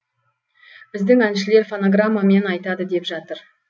біздің әншілер фонограммамен айтады деп жатыр